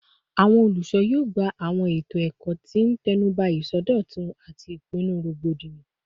Awọn olusona yoo gba awọn eto ikẹkọ ti n tẹnuba isọdọtun ati ipinnu rogbodiyan